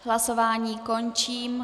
Hlasování končím.